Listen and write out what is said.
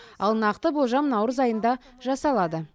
ал нақты болжам наурыз айында жасалады